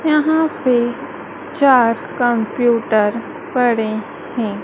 यहां पे चार कंप्यूटर पड़े हैं।